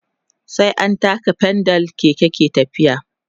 sai an taka pedal Keke yake tafiya